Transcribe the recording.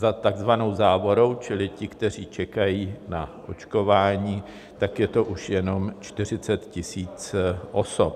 Za takzvanou závorou čili ti, kteří čekají na očkování, tak je to už jenom 40 000 osob.